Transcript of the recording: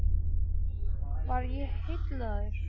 Var ég heillaður?